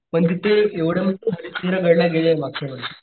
पण तिथे एवढं म्हणजे तू हरिशचंद्र गड ला गेला मागच्या वर्षी,